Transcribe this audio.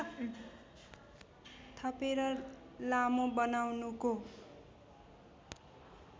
थपेर लामो बनाउनुको